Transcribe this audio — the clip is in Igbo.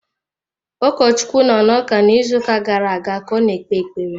Ụkọchukwu nọ n’ụka n’izuuka gara-aga ka ọ kpee ekpere.